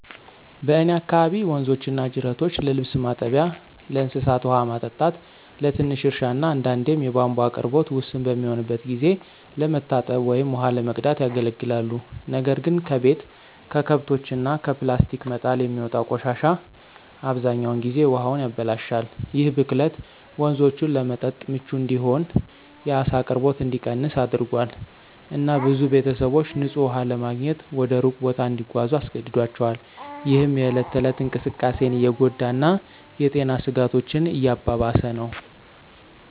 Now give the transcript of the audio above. በእኔ አካባቢ ወንዞችና ጅረቶች ለልብስ ማጠቢያ፣ ለእንስሳት ውሃ ማጠጣት፣ ለትንሽ እርሻ እና አንዳንዴም የቧንቧ አቅርቦት ውስን በሚሆንበት ጊዜ ለመታጠብ ወይም ውሃ ለመቅዳት ያገለግላሉ። ነገር ግን ከቤት፣ ከከብቶች እና ከፕላስቲክ መጣል የሚወጣው ቆሻሻ አብዛኛውን ጊዜ ውሃውን ያበላሻል። ይህ ብክለት ወንዞቹን ለመጠጥ ምቹ እንዳይሆን፣ የዓሳ አቅርቦት እንዲቀንስ አድርጓል፣ እና ብዙ ቤተሰቦች ንፁህ ውሃ ለማግኘት ወደ ሩቅ ቦታ እንዲጓዙ አስገድዷቸዋል፣ ይህም የእለት ተእለት እንቅስቃሴን እየጎዳ እና የጤና ስጋቶችን እያባባሰ ነው።